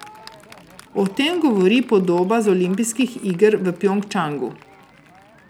O tem govori podoba z olimpijskih iger v Pjongčangu.